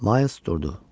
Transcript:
Ma durdu.